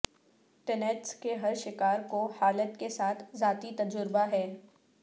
tinnitus کے ہر شکار کو حالت کے ساتھ ذاتی تجربہ ہے